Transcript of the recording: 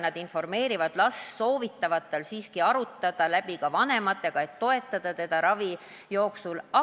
Nad informeerivad last, soovitavad tal siiski arutada olukord läbi ka vanematega, et need saaksid teda ravi jooksul toetada.